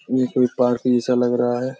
ये कोई पार्क जैसा लग रहा है।